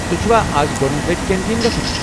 تۄہہِ چھُوا از گۄڑنِچہِ لٹہِ کنٹیٖن گژھُن؟